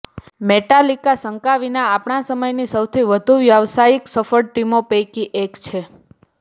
Metallica શંકા વિના આપણા સમયની સૌથી વધુ વ્યાવસાયિક સફળ ટીમો પૈકી એક છે